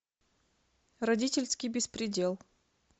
родительский беспредел